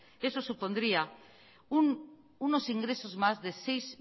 eso supondría unos ingresos más de seis